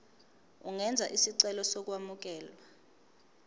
ungenza isicelo sokwamukelwa